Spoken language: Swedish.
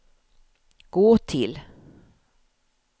gå till